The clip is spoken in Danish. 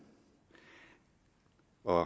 og